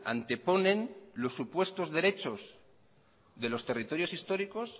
anteponen los supuestos derechos de los territorios históricos